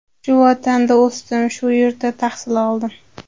Shu vatanda o‘sdim, shu yurtda tahsil oldim.